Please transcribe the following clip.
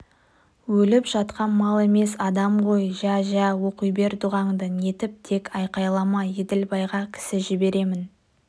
өліп жатқан мал емес адам ғой жә-жә оқи бер дұғаңды нетіп тек айқайлама еділбайға кісі жіберемін